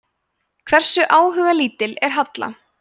hversu áhugalítil er halla